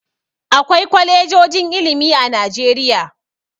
Akwai kwalejojin ilimi a Najeriya.